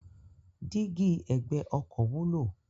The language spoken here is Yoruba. Dígí ẹ̀gbẹ́ ọkọ̀ wúlò.